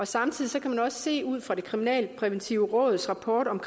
samtidig kan man også se ud fra det kriminalpræventive råds rapport om